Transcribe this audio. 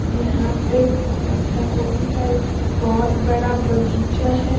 यहां पे पत्तागोभी का एक बहुत बड़ा बगीचा है।